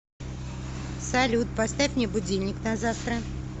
салют поставь мне будильник на завтра